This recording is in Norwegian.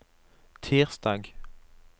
tirsdag